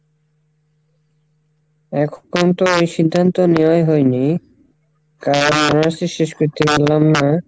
এখন তো এই সিদ্ধান্ত নেওয়াই হয়নি শেষ করতে পারলাম না,